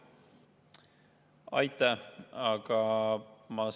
Aitäh!